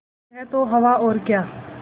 यह तो हवा और क्या